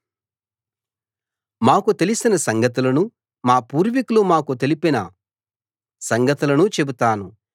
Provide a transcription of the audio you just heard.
మాకు తెలిసిన సంగతులను మా పూర్వికులు మాకు తెలిపిన సంగతులను చెబుతాను